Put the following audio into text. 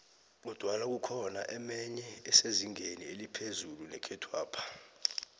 kodwana kukhona emenye esezingeni eliphezu nekhethwapha